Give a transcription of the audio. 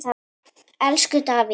Elsku Davíð.